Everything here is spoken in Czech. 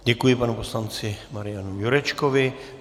Děkuji panu poslanci Marianu Jurečkovi.